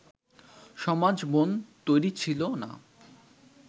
সমাজ-মন তৈরি ছিল না